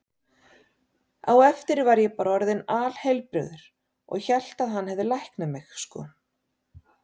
Á eftir var ég bara orðinn alheilbrigður og hélt að hann hefði læknað mig, sko.